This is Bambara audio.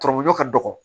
Tɔrɔmɔ ka dɔgɔ